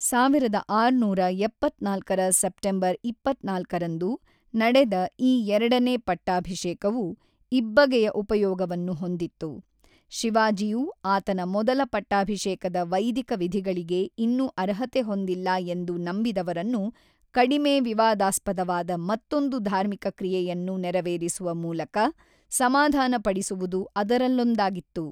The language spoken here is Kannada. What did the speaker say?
ಸಾವಿರದ ಆರುನೂರ ಎಪ್ಪತ್ತ್ನಾಲ್ಕರ ಸೆಪ್ಟೆಂಬರ್ ಇಪ್ಪತ್ತ್ನಾಲ್ಕರಂದು ನಡೆದ ಈ ಎರಡನೇ ಪಟ್ಟಾಭಿಷೇಕವು ಇಬ್ಬಗೆಯ ಉಪಯೋಗವನ್ನು ಹೊಂದಿತ್ತು, ಶಿವಾಜಿಯು ಆತನ ಮೊದಲ ಪಟ್ಟಾಭಿಷೇಕದ ವೈದಿಕ ವಿಧಿಗಳಿಗೆ ಇನ್ನೂ ಅರ್ಹತೆ ಹೊಂದಿಲ್ಲ ಎಂದು ನಂಬಿದವರನ್ನು ಕಡಿಮೆ ವಿವಾದಾಸ್ಪದವಾದ ಮತ್ತೊಂದು ಧಾರ್ಮಿಕ ಕ್ರಿಯೆಯನ್ನು ನೆರವೇರಿಸುವ ಮೂಲಕ ಸಮಾಧಾನ ಪಡಿಸುವುದು ಅದರಲ್ಲೊಂದಾಗಿತ್ತು.